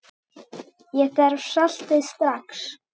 Ég þarf saltið strax.